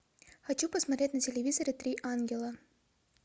хочу посмотреть на телевизоре три ангела